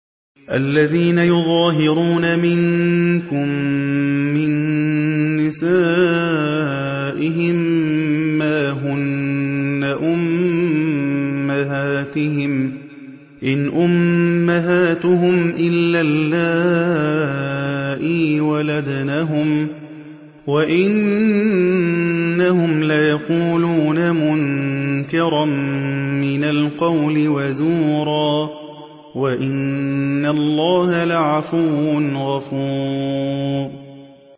الَّذِينَ يُظَاهِرُونَ مِنكُم مِّن نِّسَائِهِم مَّا هُنَّ أُمَّهَاتِهِمْ ۖ إِنْ أُمَّهَاتُهُمْ إِلَّا اللَّائِي وَلَدْنَهُمْ ۚ وَإِنَّهُمْ لَيَقُولُونَ مُنكَرًا مِّنَ الْقَوْلِ وَزُورًا ۚ وَإِنَّ اللَّهَ لَعَفُوٌّ غَفُورٌ